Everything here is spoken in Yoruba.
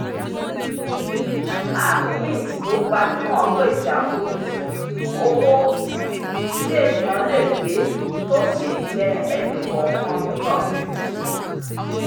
app mint tó gbajúmọ̀ pèsè àfojúsùn owó um tí ènìyàn lè pé tó sì jẹ́ ẹni-kọọkan níyànjú